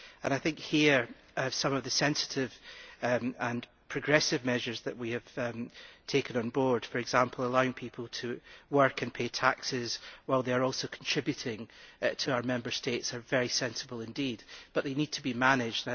I think some of the sensitive and progressive measures that we have taken on board for example, allowing people to work and pay taxes while they are also contributing to our Member States are very sensible indeed, but they need to be managed.